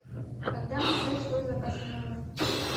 когда мне ждать свой заказ в номер